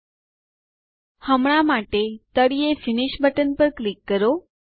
000737 000710 હવે અમે કરવામાં આવે છે તેથી અમને તળિયે સમાપ્ત કરો બટન પર ક્લિક કરો